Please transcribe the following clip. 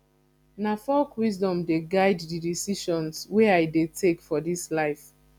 na folk wisdom dey guide di decisions wey i dey take for dis life